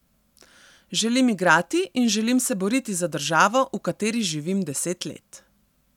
Želim igrati in želim se boriti za državo, v kateri živim deset let.